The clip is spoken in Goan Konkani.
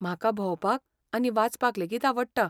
म्हाका भोंवपाक आनी वाचपाक लेगीत आवडटा.